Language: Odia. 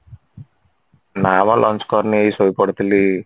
ନା ମ lunch କରିନି ଏଇ ଶୋଇପଡିଥିଲି